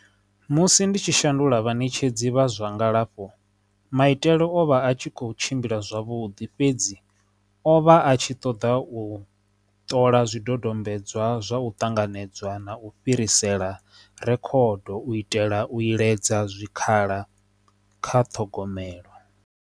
Musi ndi tshi shandula vhaṋetshedzi vha zwa ngalafho maitele o vha a tshi kho tshimbila zwavhuḓi fhedzi o vha a tshi ṱoḓa u ṱola zwidodombedzwa zwa u ṱanganedzwa na u fhirisela rekhodo u itela u iledza zwikhala kha ṱhogomelo.